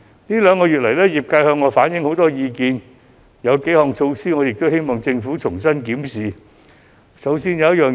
業界這兩個月向我反映了很多意見，我希望政府可以重新檢視某幾項措施。